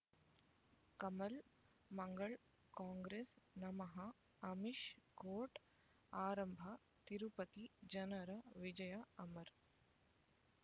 ಕಮಲ್ ಮಂಗಳ್ ಕಾಂಗ್ರೆಸ್ ನಮಃ ಅಮಿಷ್ ಕೋರ್ಟ್ ಆರಂಭ ತಿರುಪತಿ ಜನರ ವಿಜಯ ಅಮರ್